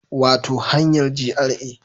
Wato hanyar GRA